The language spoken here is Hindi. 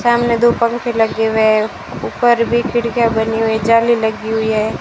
सामने दो पंखे लगे हुए। ऊपर भी खिड़कियां बनी हुई जाली लगी हुई है।